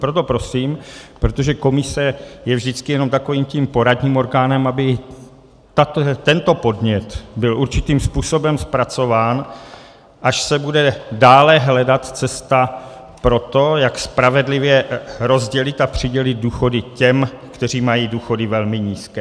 Proto prosím, protože komise je vždycky jen takovým tím poradním orgánem, aby tento podnět byl určitým způsobem zpracován, až se bude dále hledat cesta pro to, jak spravedlivě rozdělit a přidělit důchody těm, kteří mají důchody velmi nízké.